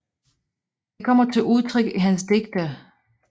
Det kommer til udtryk i hans digte